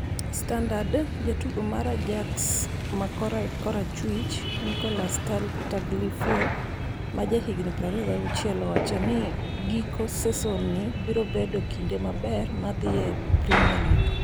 (Standard) Jatugo mar Ajax ma korachwich, Nicolas Tagliafico, ma jahigni 26, owacho ni giko seson ni birobedo kinde maber mar dhi e Premier League.